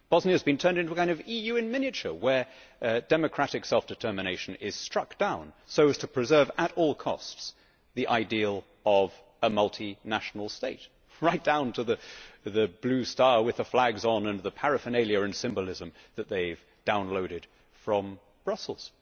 Bosnia has been turned into a kind of EU in miniature, where democratic self determination is struck down so as to preserve at all costs the ideal of a multinational state, right down to the blue flag with the stars on and the paraphernalia and symbolism that they have downloaded from Brussels.